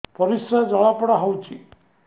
ପରିସ୍ରା ଜଳାପୋଡା ହଉଛି